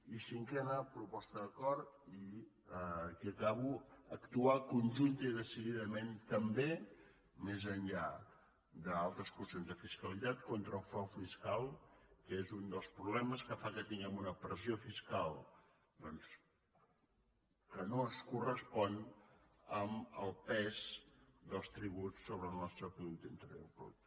i cinquena proposta d’acord i aquí acabo actuar conjuntament i decididament també més enllà d’altres qüestions de fiscalitat contra el frau fiscal que és un dels problemes que fa que tinguem una pressió fiscal doncs que no es correspon amb el pes dels tributs sobre el nostre producte interior brut